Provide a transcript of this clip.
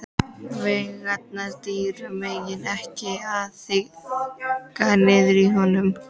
Veigarnar dýru megna ekki að þagga niður í honum.